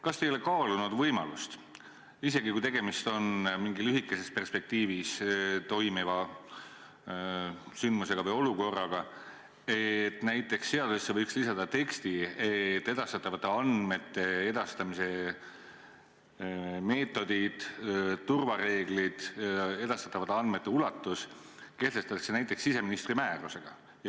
Kas te ei ole kaalunud võimalust – isegi kui tegemist on mingi lühikeses perspektiivis toimuva sündmusega või olukorraga – lisada seadusesse näiteks tekst, et esitatavate andmete edastamise meetodid, turvareeglid, edastatavate andmete ulatus, kehtestatakse siseministri määrusega.